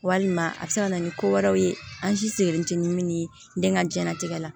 Walima a bɛ se ka na ni ko wɛrɛw ye an si sigilen tɛ ni min ye den ka diɲɛnatigɛ la